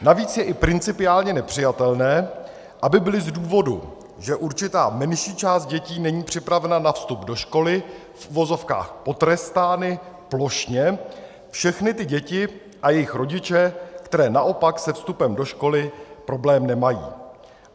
Navíc je i principiálně nepřijatelné, aby byly z důvodu, že určitá menší část dětí není připravena na vstup do školy, v uvozovkách potrestány plošně všechny ty děti a jejich rodiče, které naopak se vstupem do školy problém nemají.